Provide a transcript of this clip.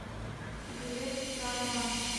билет закрома